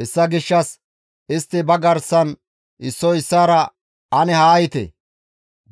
Hessa gishshas istti ba garsan issoy issaara, «Ane haa yiite!